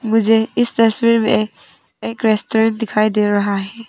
मुझे इस तस्वीर में एक रेस्टोरेंट दिखाई दे रहा है।